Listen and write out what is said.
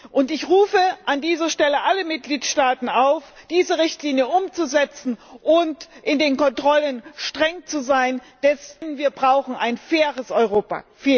Und ich rufe an dieser Stelle alle Mitgliedstaaten auf, diese Richtlinie umzusetzen und in den Kontrollen streng zu sein, denn wir brauchen ein faires Europa!